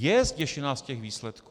Je zděšená z těch výsledků!